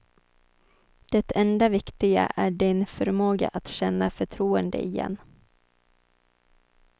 Det enda viktiga är din förmåga att känna förtroende igen.